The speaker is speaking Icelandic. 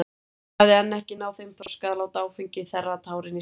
Hún hafði enn ekki náð þeim þroska að láta áfengi þerra tárin í sálinni.